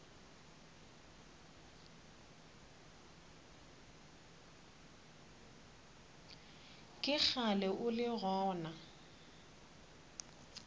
ke kgale o le gona